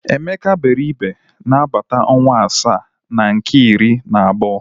Emeka gbere igbe n'agbata ọnwa asaa na nke iri na abuo.